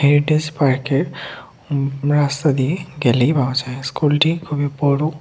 Aedes পার্কের রাস্তা দিয়ে গেলেই পাওয়া যায় স্কুলটি খুবই বড়।